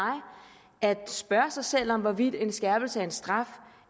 at spørge sig selv om hvorvidt en skærpelse af en straf